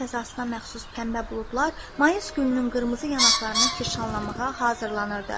Bahar fəzasına məxsus pəmbə buludlar mayıs gününün qırmızı yanaqlarını kirşanlamağa hazırlanırdı.